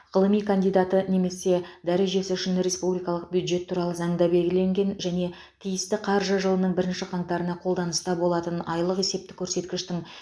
ғылыми кандидаты немесе дәрежесі үшін республикалық бюджет туралы заңда белгіленген және тиісті қаржы жылының бірінші қаңтарына қолданыста болатын айлық есептік көрсеткіштің